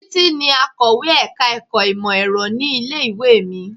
Títí ni akọ̀wé ẹ̀ka-ẹ̀kọ́ ìmọ̀-Ẹ̀rọ ní ilé-ìwé mi.